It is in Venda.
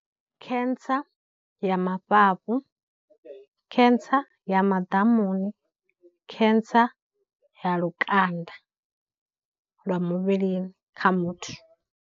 Cancer ya mafhafhu, cancer ya maḓamuni, cancer ya lukanda lwa muvhilini kha muthu.